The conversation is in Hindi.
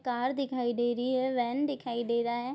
कार दिखाई दे रही है वैन दिखाई दे रहा है।